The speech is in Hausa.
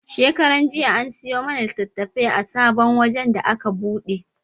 Shekaran jiya an siyo mana litattafai a sabon wajen da aka buɗe.